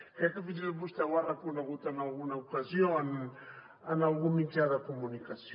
crec que fins i tot vostè ho ha reconegut en alguna ocasió en algun mitjà de comunicació